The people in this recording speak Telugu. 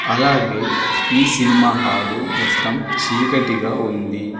అలాగే ఈ సినిమా హాలు మొత్తం చీకటిగా ఉంది.